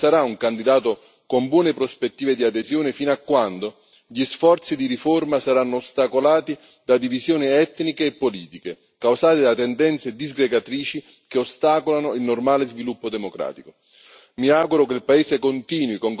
Per questa ragione, la Bosnia Erzegovina non sarà un candidato con buone prospettive di adesione fino a quando gli sforzi di riforma saranno ostacolati da divisioni etniche e politiche, causate da tendenze disgregatrici che ostacolano il normale sviluppo democratico.